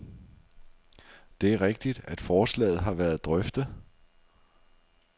Det er rigtigt, at forslaget har været drøftet.